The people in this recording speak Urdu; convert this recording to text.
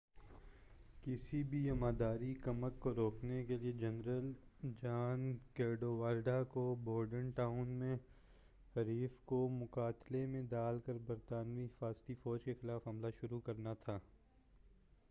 کسی بھی امدادی کمک کو روکنے کیلئے جنرل جان کیڈوالڈر کو بورڈن ٹاؤن میں حریف کو مغالطے میں ڈال کر برطانوی حفاظتی فوج کے خلاف حملہ شروع کرنا تھا